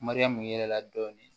Mariyamu ye dɔɔnin